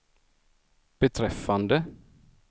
beträffande